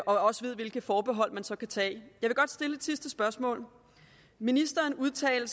også ved hvilke forbehold man så kan tage jeg vil godt stille et sidste spørgsmål ministeren udtalte